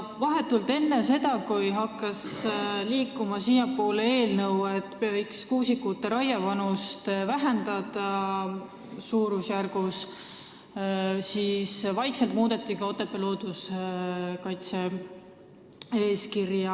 Vahetult enne seda, kui siiapoole hakkas liikuma eelnõu, mis nägi ette, et võiks kuusikute raievanust suurusjärgu võrra vähendada, muudeti vaikselt Otepää looduskaitse-eeskirja.